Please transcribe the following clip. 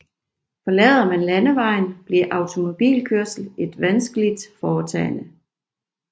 Forlader man landevejen bliver automobilkørsel et vanskeligt foretagene